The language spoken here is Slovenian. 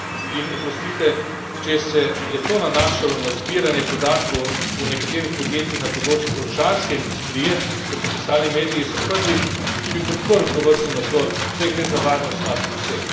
In oprostite, če se je to nanašalo na zbiranje podatkov o nekaterih podjetjih na področju orožarske industrije, kot so pisali mediji, sem prvi, ki bi podprl tovrstni nadzor, saj gre za varnost nas vseh.